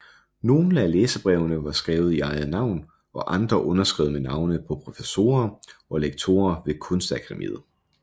Nogle af læserbrevene var skrevet i eget navn og andre underskrevet med navne på professorer og lektorer ved kunstakademiet